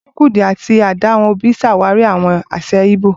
Chukwudi àti Adaobi ṣàwárí àwọn àṣà Igbo.